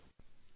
ನಮಸ್ತೆ